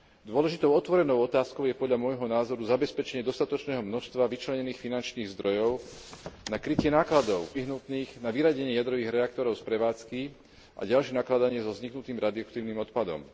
Dôležitou otvorenou otázkou je podľa môjho názoru zabezpečenie dostatočného množstva vyčlenených finančných zdrojov na krytie nákladov nevyhnutných na vyradenie jadrových reaktorov z prevádzky a ďalšie nakladanie so vzniknutým rádioaktívnym odpadom.